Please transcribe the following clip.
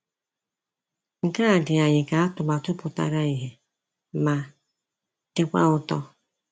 Nke a dị anyị ka atụmatụ pụtara ìhè ma dịkwa ụtọ.